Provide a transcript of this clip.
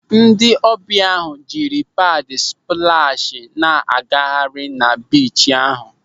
Ndị ọbịa ahụ jiri paad splashị na-agagharị na biichi ahụ.